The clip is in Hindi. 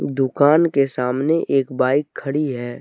दुकान के सामने एक बाइक खड़ी है।